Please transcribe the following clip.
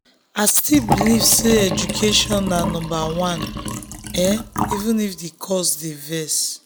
um i still believe gidigba say education na number um 1 even if the costs dey vex.